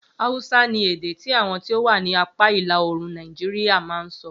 Hausa ni èdè tí àwọn tí o wà ni apá ìlàòrùn Nàìjíríà ma ń sọ